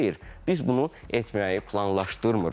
Xeyr, biz bunu etməyi planlaşdırmırıq.